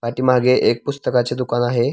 पाठीमागे एक पुस्तकाचे दुकान आहे.